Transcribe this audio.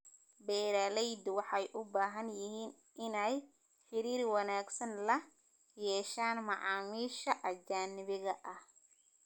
Beeralaydu waxay u baahan yihiin inay xiriir wanaagsan la yeeshaan macaamiisha ajnabiga ah.